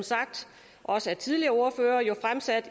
også sagt af tidligere ordførere fremsat